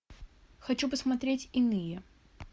хочу посмотреть иные